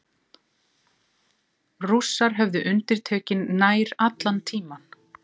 Rússar höfðu undirtökin nær allan tímann